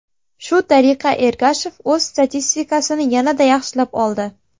Shu tariqa Ergashev o‘z statistikasini yanada yaxshilab oldi.